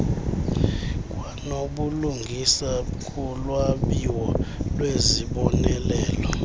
kwanobulungisa kulwabiwo lwezibonelelo